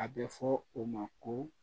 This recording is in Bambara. A bɛ fɔ o ma ko